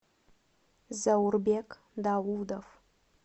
заурбек даудов